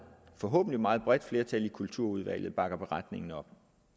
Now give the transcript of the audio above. forhåbentlig meget bredt flertal i kulturudvalget bakker beretningen op